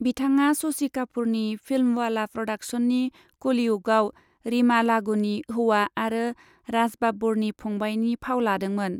बिथाङा शशि कापूरनि फिल्मवाला प्र'डाक्शन्सनि कलियुगआव रीमा लागूनि हौवा आरो राज बाब्बरनि फंबायनि फाव लादोंमोन।